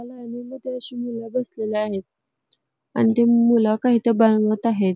लाइनी मध्ये अशी मुल बसलेली आहेत आणि ते मुल काहीत बनवत आहेत.